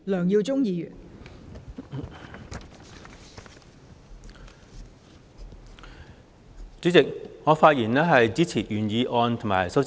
代理主席，我發言支持原議案及修正案。